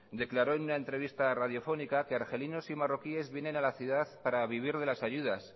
declaró en una entrevista radiofónica que argelinos y marroquíes vienen a la ciudad para vivir de las ayudas